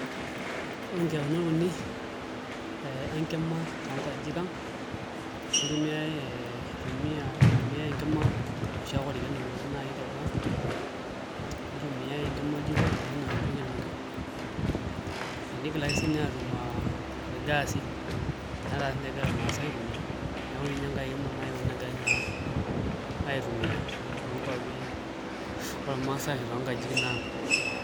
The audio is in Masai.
Ore nkiyaunot uni enkima toonkajijik ang' itumiai enkima enoshi ake orkeek nainoki teboo nitumiai enkima oljiko enoshi naa nkuk inoki nigilaki siinye aatum irgaasi netaa siinche egira irmaasai aitumiaa neeku ninye naa enkae kima euni naigilaki naa aitumiaa toonkuapi ormaasai ashu toonkajijik ang'.